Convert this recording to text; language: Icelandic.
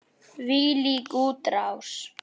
Þvílík útrás!